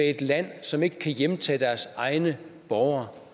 et land som ikke kan hjemtage deres egne borgere